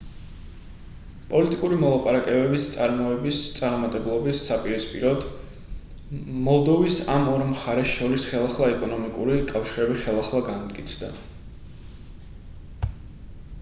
პოლიტიკური მოლაპარაკებების წარმოებების წარუმატებლობის საპირისპიროდ მოლდოვის ამ ორ მხარეს შორის ხელახლა ეკონომიკური კავშირები ხელახლა განმტკიცდა